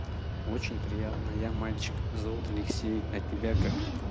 очень приятно я мальчик зовут алексей а тебя как